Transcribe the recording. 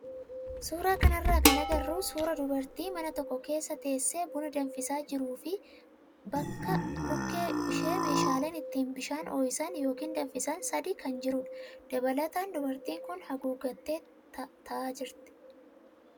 Suuraa kanarraa kan agarru suuraa dubartii mana tokko keessa teessee buna danfisaa jiruu fi bukkee ishee meeshaaleen ittiin bishaan ho'isan yookaan danfisan sadii kan jirudha. Dabalataan dubartiin kun haguuggatteetu taa'aa jirti.